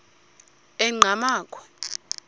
enqgamakhwe